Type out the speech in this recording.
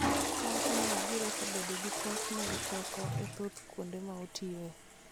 Owacho ni Wajir osebedo gi pek mag teko e thoth kuonde ma otiyoe